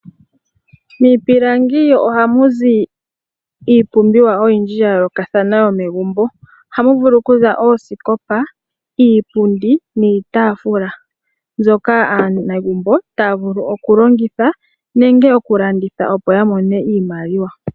Miipilangi oha muzi iipumbiwa oyindji yayolokathana yo megumbo ohamu vulu kuza oosikopa, iipundi, niitafula nzoka aanegumbo taa vulu okulongitha nenge oku landitha opo yamone iimaliwa.